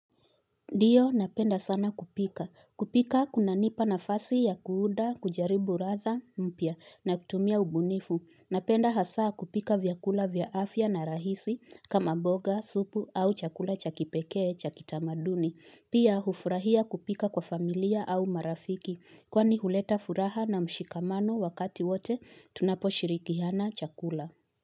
Ndiyo, napenda sana kupika. Kupika kuna nipa nafasi ya kuunda, kujaribu ladha, mpya. Na kutumia ubunifu. Napenda hasa kupika vyakula vya afya na rahisi kama mboga, supu au chakula cha kipekee cha kitamaduni. Pia hufurahia kupika kwa familia au marafiki. Kwani huleta furaha na mshikamano wakati wote tunapo shirikiana chakula.